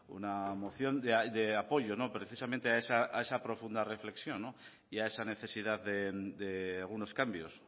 una moción de apoyo precisamente a esa profunda reflexión y a esa necesidad de algunos cambios